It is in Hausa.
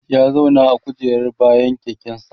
ya zauna a kujerar bayan keken sa